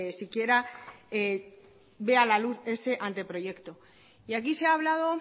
siquiera vea la luz ese anteproyecto y aquí se ha hablado